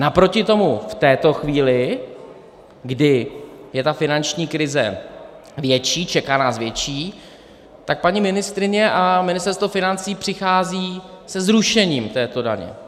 Naproti tomu v této chvíli, kdy je ta finanční krize větší, čeká nás větší, tak paní ministryně a Ministerstvo financí přichází se zrušením této daně.